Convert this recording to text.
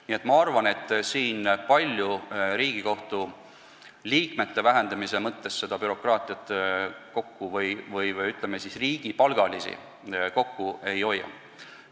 Nii et ma arvan, et Riigikohtu liikmete arvu vähendades bürokraatiat või, ütleme, riigipalgalisi kokku ei tõmba.